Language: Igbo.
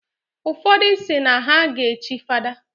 Ụfodụ si na ha ga echi fada.